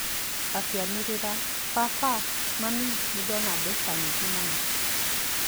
Akĩanĩrĩra, "Baba! Mami! Nĩ ndona mbeca nyingĩ mũno!"